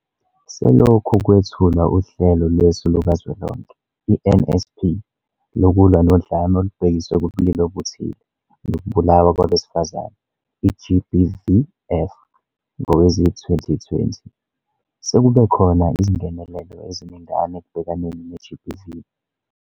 Selokhu kwethulwa uHlelo Lwesu Lukazwelonke, i-NSP, Lokulwa noDlame Olubhekiswe Kubulili Obuthile Nokubulawa Kwabesifazane, i-GBVF, ngowezi-2020, sekubekhona izingenelelo eziningana ekubhekaneni ne-GBV.